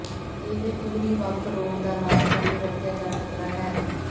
ਇਹ ਪੂਰੀ ਵੱਖ ਰੋਗ ਦਾ ਇਲਾਜ ਕਰਨ ਲਈ ਵਰਤਿਆ ਜਾ ਸਕਦਾ ਹੈ